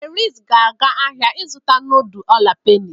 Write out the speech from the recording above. Felix ga-aga ahịa ịzụta nudul ola peni.